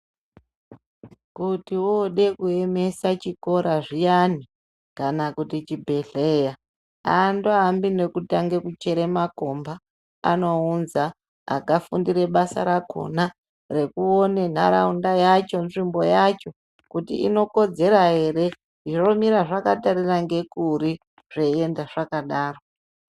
Kuti woode kuemesa chikora zviyani kana kuti chibhedhlera aandoambi nekutange kuchere makomba, anounza akafundire basa rakhona rekuone nharaunda yacho, nzvimbo yacho kuti inokodzera ere, zvomira zvakatarira ngekuri zveienda zvakadaro.